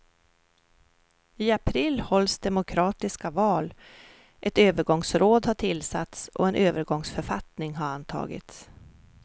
I april hålls demokratiska val, ett övergångsråd har tillsatts och en övergångsförfattning har antagits.